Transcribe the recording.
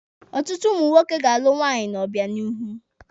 Ọtụtụ ụmụ nwoke ga-alụ nwunye n'obịanihu.